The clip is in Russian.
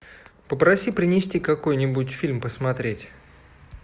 попроси принести какой нибудь фильм посмотреть